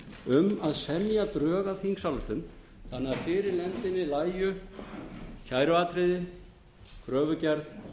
um að semja drög að þingsályktun þannig að fyrir nefndinni lægju kæruatriði kröfugerð